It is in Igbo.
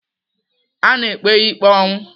A na-ekpe ya ikpe ọnwụ.